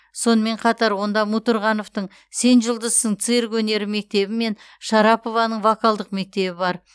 сонымен қатар онда мутурғановтың сен жұлдызсың цирк өнері мектебі мен шарапованың вокалдық мектебі бар